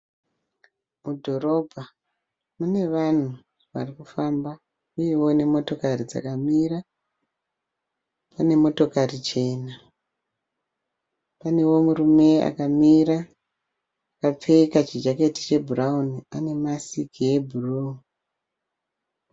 Mudhorobha mune vanhu varikufamba uyewo nemotokari dzakamira. Pane motokari chena. Panewo murume akamira akapfeka chijaketi chebhurawuni anemasiki yebhuruu.